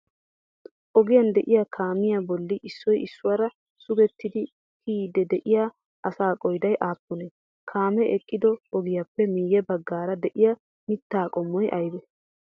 Ogiyan de'iyaa kaamiyaa bolli issoyi issuwaara sugettidi kiyiiddi de'iyaa asaa qoodayi aappune? Kaamee eqqido ogiyappe miyye baggaara de'iyaa mittaa qommoyi ayibee?